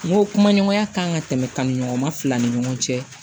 N ko kuma ɲɔgɔnya kan ka tɛmɛ kanɲɔgɔn fila ni ɲɔgɔn cɛ